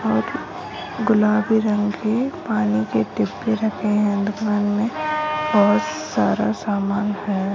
और गुलाबी रंग की पनि की डिब्बी रखे है दुकान में और सारा सामान --